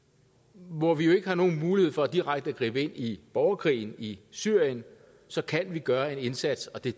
hvor vi jo ikke har nogen mulighed for direkte at gribe ind i borgerkrigen i syrien så kan vi gøre en indsats og det